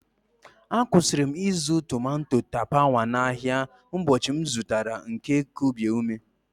Akwụsịrị m ịzụ tomato tapawa n'ahịa ụbọchị m zụtara nke kubie ume.